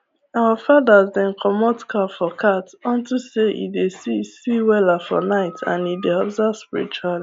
our fathers dem comot cap for cat unto say e dey see see weller for night and e dey observe spiritually